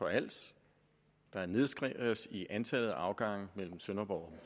på als der nedskæres i antallet af afgange mellem sønderborg